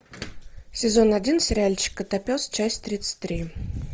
сезон один сериальчик котопес часть тридцать три